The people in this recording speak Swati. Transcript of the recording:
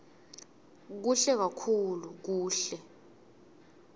kuhle kakhulu kuhle